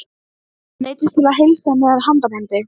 Hann neyddist til að heilsa með handabandi.